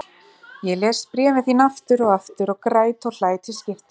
Ég les bréfin þín aftur og aftur og græt og hlæ til skiptis.